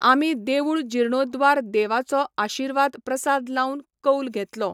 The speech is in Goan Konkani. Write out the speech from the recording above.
आमी देवूळ जिर्णोद्वार देवाचो आशिर्वाद प्रसाद लावन कौल घेतलो